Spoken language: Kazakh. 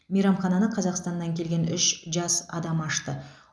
мейрамхананы қазақстаннан келген үш жас адам ашты